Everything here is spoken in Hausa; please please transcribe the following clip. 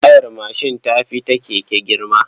Tayar mashin ta fi ta keke girma.